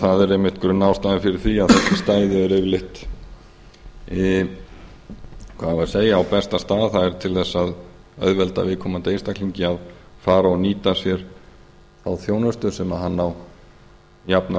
það er einmitt grunnástæðan fyrir því að þessi stæði eru yfirleitt á besta stað það er til þess að auðvelda viðkomandi einstaklingi að fara og nýta sér þá þjónustu sem hann á jafnan